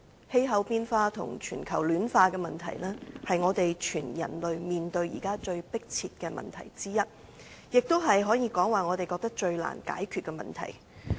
氣候變化與全球暖化的問題，是全人類現在面對最迫切的問題之一，也可以說是我們認為最難解決的問題。